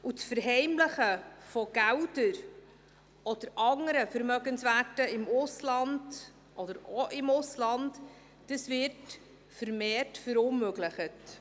Das Verheimlichen von Geldern oder anderen Vermögenswerten, auch im Ausland, wird vermehrt verunmöglicht.